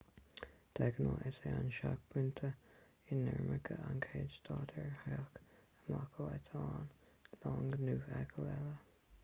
de ghnáth is é an seicphointe inimirce an chéad stad ar theacht amach ó eitleán long nó feithicil eile